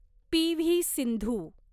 P V. Sindhu